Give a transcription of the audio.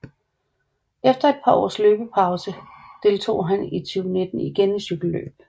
Efter et par års løbspause deltog han i 2019 igen i et cykelløb